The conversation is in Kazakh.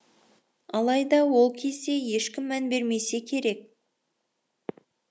алайда ол кезде ешкім мән бермесе керек